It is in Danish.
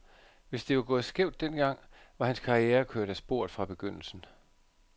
Hvis det var gået skævt den gang, var hans karriere kørt af sporet fra begyndelsen.